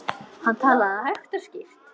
Hann talaði hægt og skýrt.